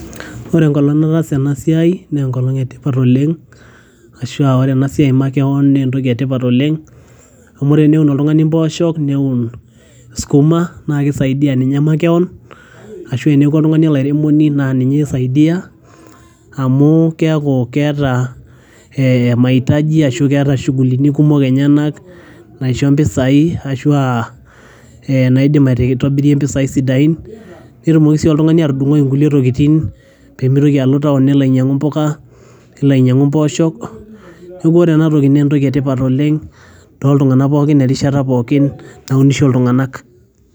Ore enkolong nataasa ena siai, naa enkolong etipat oleng',arashu aa ore ena siai makewon naa entoki etipat oleng',amu ore teneun oltungani emboosho neun sukuma nisaidia ninye makewon arashuu teneeku oltungani olairemoni naa ninye isaidia, amu keeku keeta mahitaji arashu keeta shugulini kumok enyanak naisho impisai arashuu aa atobirie impisai sidain, netumoki sii oltungani atudungoi ingulie tokitin pee mitoki alo towon nelo ainyiangu imbuka, nelo ainyiangu imboosho neeku ore ena naa entoki etipat oleng' too tunganak pookin terishat pookin naunisho iltunganak.